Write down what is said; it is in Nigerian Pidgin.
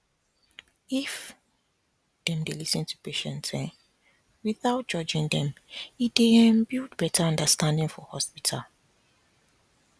if dem dey lis ten to patients um without judging them e dey um build better understanding for hospital